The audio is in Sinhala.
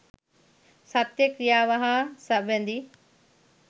සත්‍ය ක්‍රියාව හා සැබඳි